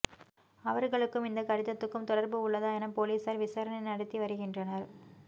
அவர்களுக்கும் இந்த கடிதத்துக்கும் தொடர்பு உள்ளதா எனப் போலீஸார் விசாரணை நடத்தி வருகின்றனர்